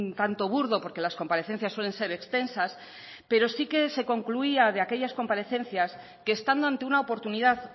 tanto burdo porque las comparecencias suelen ser extensas pero sí que se concluía de aquellas comparecencias que estando ante una oportunidad